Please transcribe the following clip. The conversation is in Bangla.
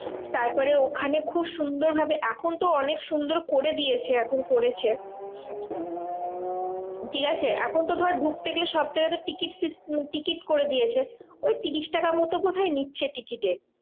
তারপরে ওখানে খুব সুন্দর ভাবে এখন তো অনেক সুন্দর করে দিয়েছে এখন করেছে। ঠিকাছে? এখন তো ধর ঢুকতে গেলে সবজায়গায় তো টিকিট টিকিট করে দিয়েছে, ওই ত্রিশ টাকা মতো বোধহয় নিচ্ছে টিকিটে।